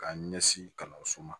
K'a ɲɛsin kalanso ma